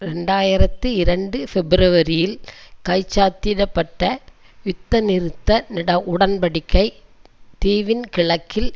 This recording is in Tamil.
இரண்டு ஆயிரத்தி இரண்டு பிப்பிரவரியில் கைச்சாத்திட பட்ட யுத்த நிறுத்த உடன் படிக்கை தீவின் கிழக்கில்